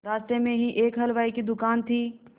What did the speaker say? रास्ते में ही एक हलवाई की दुकान थी